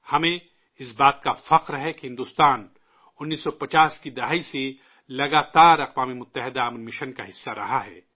ہمیں اس بات پر فخر ہے کہ بھارت 1950 کے عشرے سے لگاتار اقوام متحدہ کے امن مشن کا حصہ رہا ہے